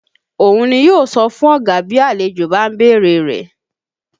Òun ni yó sọ fún ọ̀gá bí àlejò bá ń bèrè rẹ̀